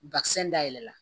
dayɛlɛ la